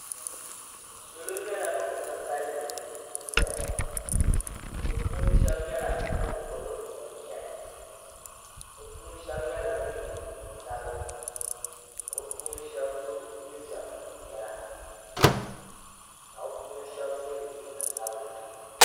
Salo nyɛla ban ka kalinli n-zaya ŋɔ bɛ puuni shɛba nyɛla ban gbubi bini ʒɛhi bɛ puuni shɛba nyɛla ban ye neen'sabila ka bɛ puuni shɛba so jinjam piɛla ka bɛ puuni shɛba so jinjam sabila.